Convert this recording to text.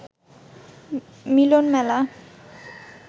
মিলন মেলা